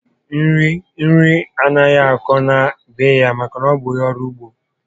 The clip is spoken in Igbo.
Nri anaghị akọ na be ya maka na ọ bụ ónyé ọrụ ugbo